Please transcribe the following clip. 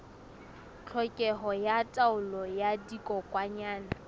tlhokeho ya taolo ya dikokwanyana